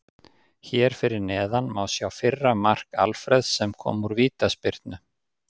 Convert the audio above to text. Hér fyrir neðan má sjá fyrra mark Alfreðs sem kom úr vítaspyrnu.